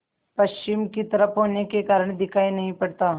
पश्चिम की तरफ होने के कारण दिखाई नहीं पड़ता